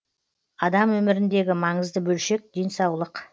адам өміріндегі маңызды бөлшек денсаулық